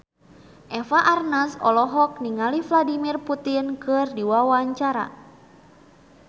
Eva Arnaz olohok ningali Vladimir Putin keur diwawancara